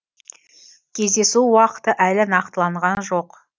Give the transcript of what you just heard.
кездесу уақыты әлі нақтыланған жоқ